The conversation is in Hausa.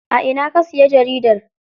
A ina ka siya jaridar?